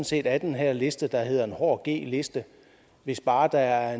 set af den her liste der hedder en hård g liste hvis bare der er